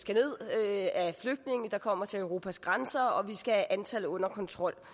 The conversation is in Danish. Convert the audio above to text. af flygtninge der kommer til europas grænser og at vi skal have antallet under kontrol